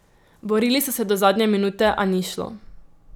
Borili so se do zadnje minute, a ni šlo.